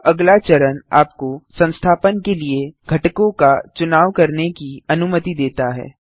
यह अगला चरण आपको संस्थापन के लिए घटकों का चुनाव करने की अनुमति देता है